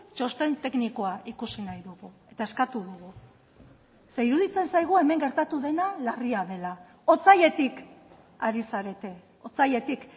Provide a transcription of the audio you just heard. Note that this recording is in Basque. txosten teknikoa ikusi nahi dugu eta eskatu dugu ze iruditzen zaigu hemen gertatu dena larria dela otsailetik ari zarete otsailetik